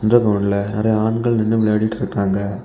இந்த கிரவுண்ட்ல நெறைய ஆண்கள் நின்னுட்டு விளையாடிட்டு இருக்காங்க.